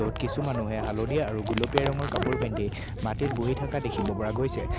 ত কিছু মানুহে হালধীয়া আৰু গুলপীয়া ৰঙৰ কাপোৰ পিন্ধি মাটিত বহি থাকা দেখিব পৰা গৈছে।